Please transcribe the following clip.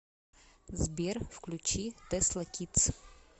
сбер включи тэсла кидс